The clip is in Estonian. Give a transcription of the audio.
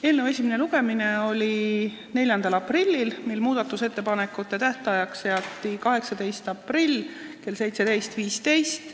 Eelnõu esimene lugemine oli 4. aprillil, mil muudatusettepanekute tähtajaks seati 18. aprill kell 17.15.